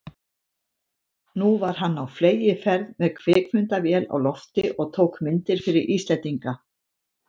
Nú var hann á fleygiferð með kvikmyndavél á lofti og tók myndir fyrir Íslendinga.